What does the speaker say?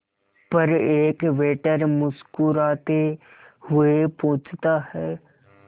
पर एक वेटर मुस्कुराते हुए पूछता है